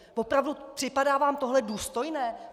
Opravdu, připadá vám tohle důstojné?